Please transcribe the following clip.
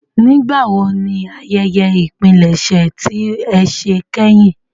Nigbawo ni àyẹyẹ ìpilẹṣẹ ti e ṣe kehin?